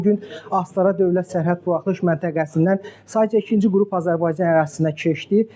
Bu gün Astara dövlət sərhəd buraxılış məntəqəsindən sayca ikinci qrup Azərbaycan ərazisinə keçdi.